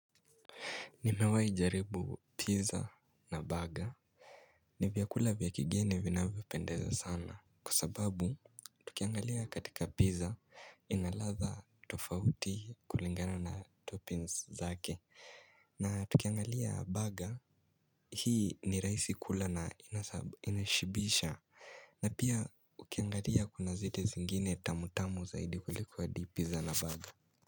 Ni mewai jaribu pizza na baga ni vyakula vyakigeni vina vipendeza sana kusababu tukiangalia katika pizza inalatha tofauti kulingana na toppings zake na tukiangalia baga hii ni raisi kula na inashibisha na pia ukiangalia kuna ziti zingine tamu tamu zaidi kulikuwa adi pizza na baga.